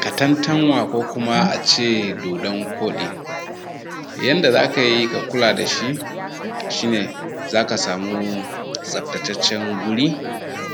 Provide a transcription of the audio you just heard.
Katantanwa ko kuma a ce dodon koɗi. Yanda za ka yi ka kula da shi shi ne za ka samu tsaftacen guri,